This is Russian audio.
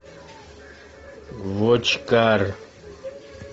вотчкар